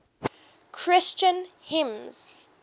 christian hymns